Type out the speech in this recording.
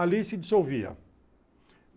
Ali se dissolvia.